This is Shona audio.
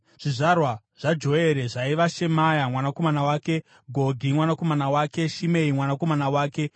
Zvizvarwa zvaJoere zvaiva: Shemaya mwanakomana wake, Gogi mwanakomana wake, Shimei mwanakomana wake,